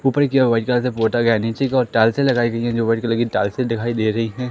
ऊपर की ओर व्हाइट कलर से पोटा गया है। नीचे की ओर टाइल्सें लगाई गई है जो व्हाइट कलर की टाइल्सें दिखाई दे रही हैं।